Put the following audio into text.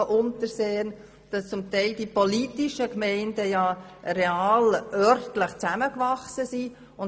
Es ist so, dass die politischen Gemeinden zum Teil örtlich zusammengewachsen sind.